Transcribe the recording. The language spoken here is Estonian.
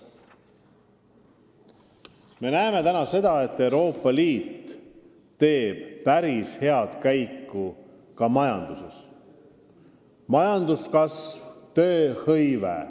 Me näeme täna, et Euroopa Liidu majanduse käekäik on päris hea: majanduskasv, tööhõive.